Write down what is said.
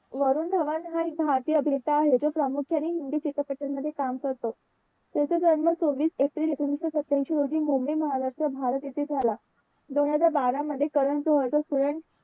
वरून धवन हा एक भारतीय अभिनेता आहे. जो प्रामुख्याने हिंदी चित्रपटामध्ये काम करतो. त्याचा जन्म चोवीस एप्रिल एकोणविशे सत्यांशी रोजी मुंबई महाराष्ट्र भारत येथे झाला. दोन हजार बारा मध्ये करन जोहर चा student